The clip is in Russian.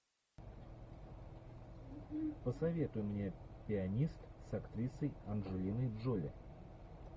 посоветуй мне пианист с актрисой анджелиной джоли